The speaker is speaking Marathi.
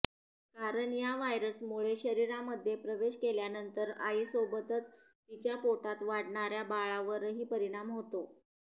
कारण या व्हायरसमुळे शरीरामध्ये प्रवेश केल्यानंतर आईसोबतच तिच्या पोटात वाढणाऱ्या बाळावरही परिणाम होतो